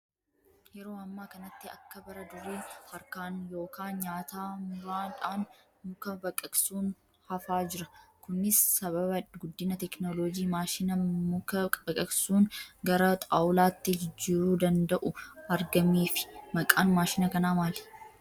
Yeroo ammaa kanatti akka bara durii harkaan yookaan nyaataa muraadhaan muka baqaqsuun hafaa jira. Kunis sababa guddina teekinooloojii maashina muka baqaqasuun gara xaawulaatti jijjiiruu danda'u argameefi. Maqaan maashina kanaa maali?